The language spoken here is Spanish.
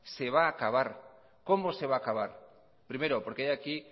se va a acabar cómo se va a acabar primero porque hay aquí